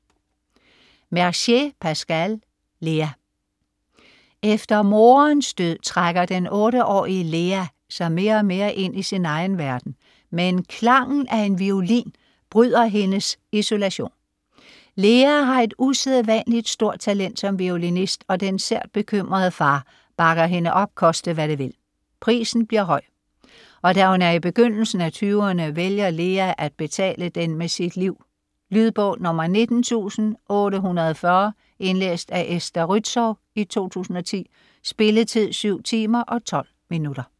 Mercier, Pascal: Lea Efter moderens død trækker den 8-årige Lea sig mere og mere ind i sin egen verden, men klangen af en violin bryder hendes isolation. Lea har et usædvanligt stort talent som violinist, og den sært bekymrede far bakker hende op, koste hvad det vil. Prisen bliver høj, og da hun er i begyndelsen af 20'erne, vælger Lea at betale den med sit liv. Lydbog 19840 Indlæst af Esther Rützou, 2010. Spilletid: 7 timer, 12 minutter.